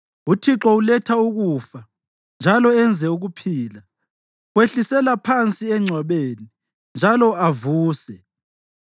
Uthixo uletha ukufa njalo enze ukuphila, wehlisela phansi engcwabeni njalo avuse.